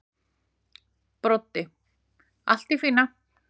Broddi: Allt í fína.